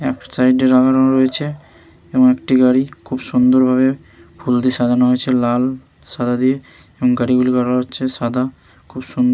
এক সাইড -এ লাগানো রয়েছে এবং একটি গাড়ি খুব সুন্দর ভাবে ফুল দিয়ে সাজানো হয়েছে লাল সাদা দিয়ে এবং গাড়িগুলির কালার হচ্ছে সাদা খুব সুন--